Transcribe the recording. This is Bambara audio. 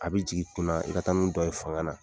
A bɛ jigin i kun na i ka taa dɔ ye fanga na